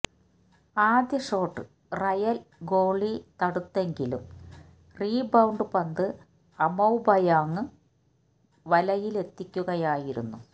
ആദ്യ shot Real goalie തടുത്തെങ്കിലും rebound പന്ത് അമൌബായെങ് വലയിലെത്തിക്കുകയായിരുന്നു